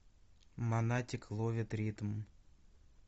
монатик ловит ритм